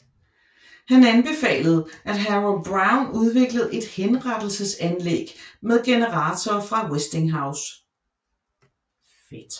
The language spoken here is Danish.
Han anbefalede at Harold Brown udviklede et henrettelsesanlæg med generatorer fra Westinghouse